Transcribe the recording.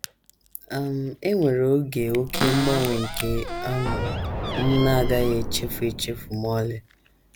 “ um E nwere oge oké mgbanwe nke um m na - agaghị echefu echefu ma ọlị.